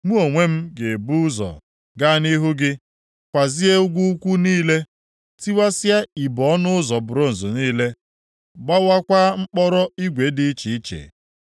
Mụ onwe m ga-ebu ụzọ gaa nʼihu gị kwazee ugwu ukwu niile, tiwasịa ibo ọnụ ụzọ bronz niile gbuwakwaa mkpọrọ igwe dị iche iche.